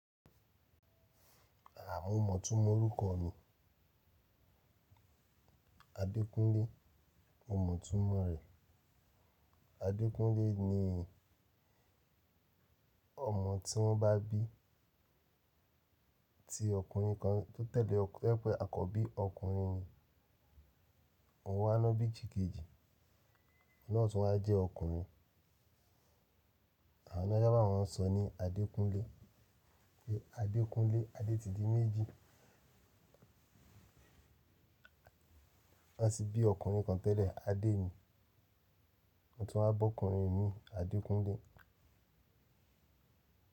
À, mo mọ̀túmọ̀ orúkọ mi. Adékúnlé, mo mọ̀túmọ̀ rẹ̀. Adékúnlé ni ọmọ tí wọ́n bá bí ti ọkùnrin kan tó tẹ̀lé o to je pẹ̀, àkọ́bí ọkùnrin ni. Òun wa ná bí sikejì, ọ̀un naà tun wa jẹ́ ọkùnrin. Àwon ni won sábà mọ́o ń sọ ní Adékúnlé. Adékúnlé, Adé ti di méjì. Wọ́n sì bí ọkùnrin kan tẹ́lẹ̀, Adé ni. Òun tún wa bọ́kùnrin mii, Adékúnlé.